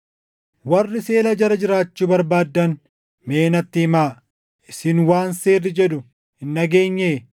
Warri seera jala jiraachuu barbaaddan mee natti himaa; isin waan seerri jedhu hin dhageenyee?